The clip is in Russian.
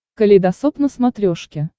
калейдосоп на смотрешке